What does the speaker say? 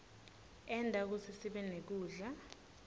enta kutsi sibenekudla